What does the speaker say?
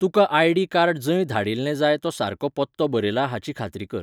तुका ID card जंय धाडिल्लें जाय तो सारको पत्तो बरयला हाची खात्री कर.